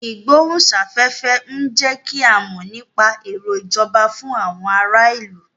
Ìgbóhùn sáfẹ́fẹ́ ń jẹ́ kí a mọ nípa èrò ìjọba fún àwọn ará ìlú